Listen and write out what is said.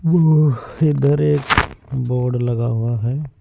इधर एक बोर्ड लगा हुआ है।